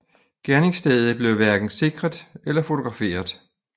Gerningsstedet blev hverken sikret eller fotograferet